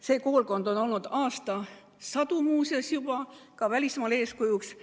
See koolkond on olnud aastasadu ka välismaale eeskujuks.